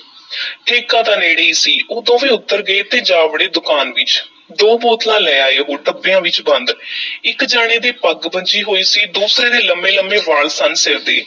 ਠੇਕਾ ਤਾਂ ਨੇੜੇ ਈ ਸੀ, ਉਹ ਦੋਵੇਂ ਉੱਤਰ ਗਏ ਤੇ ਜਾ ਵੜੇ ਦੁਕਾਨ ਵਿੱਚ, ਦੋ ਬੋਤਲਾਂ ਲੈ ਆਏ ਉਹ ਡੱਬਿਆਂ ਵਿੱਚ ਬੰਦ ਇੱਕ ਜਾਣੇ ਦੇ ਪੱਗ ਬੱਝੀ ਹੋਈ ਸੀ, ਦੂਸਰੇ ਦੇ ਲੰਮੇ-ਲੰਮੇ ਵਾਲ ਸਨ ਸਿਰ ਦੇ।